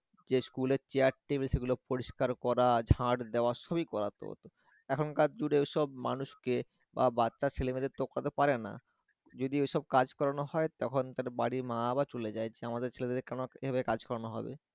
যে স্কুলের chair table সেগুলো পরিষ্কার করা ঝাড় দেওয়া সবি করাতো, এখন কার যুগে সব মানুষকে বা বচ্চা ছেলে-মেয়েদের তো করাতে পারেনা, যদি ও সব কাজ করাণো হয় তখন তার বাড়ীর মারা চলে যায় যে, আমাদের ছেলেদের দিয়ে কেন এভাবে কাজ করানো হবে?